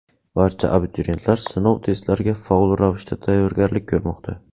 Barcha abituriyentlar sinov testlariga faol ravishda tayyorgarlik ko‘rmoqda.